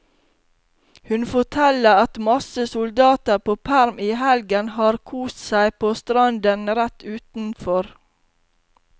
Hun forteller at masse soldater på perm i helgen har kost seg på stranden rett utenfor.